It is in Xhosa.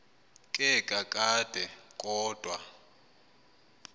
ke kakade kodwa